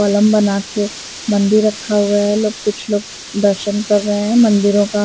column बना के मंदिर रखा हुआ है लोग कुछ लोग दर्शन कर रहे हैं मंदिरों का --